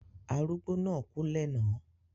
Arugbo na ku lẹ̀na